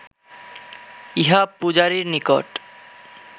ইহা পূজারীর নিকট